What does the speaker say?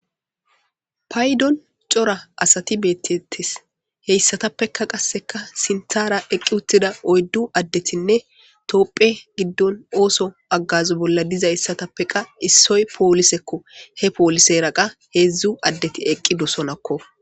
Paydon cora asati beettetes heyssatappeka qasseka sinthara eqqi uttida oyddu addetinne toopphe giddon ooso aggazo bolla diza issatappeqa issoy poolisekko he poolise raqa heedzdzu addeti eqqi dosonakko.